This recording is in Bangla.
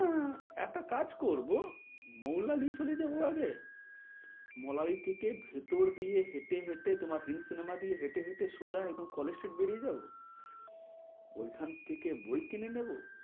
হ্যাঁ একটা কাজ করব মৌলালি চলে যাব, আগে মৌলালি থেকে ভেতর দিয়ে হেঁটে হেঁটে তোমার হিন্দ cinema দিয়ে হেঁটে হেঁটে সোজা একদম কলেজ স্ট্রীট বেরিয়ে যাব, ওইখান থেকে বই কিনে নেব।